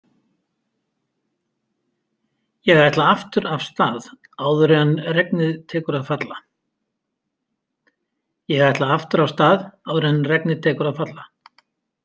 Ég ætla aftur af stað áður en regnið tekur að falla.